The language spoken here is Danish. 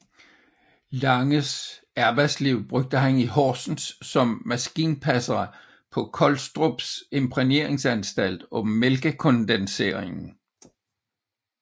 Langes arbejdsliv tilbragte han i Horsens som maskinpasser på Collstrups Imprægneringsanstalt og Mælkekondenseringen